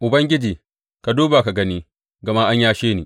Ubangiji, ka duba ka gani, gama an yashe ni.